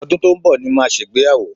Ọdún tó ń bọ̀ ni màá ṣègbéyàwó